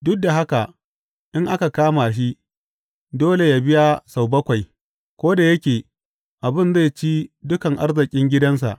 Duk da haka in aka kama shi, dole yă biya sau bakwai ko da yake abin zai ci dukan arzikin gidansa.